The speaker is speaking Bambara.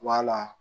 Wala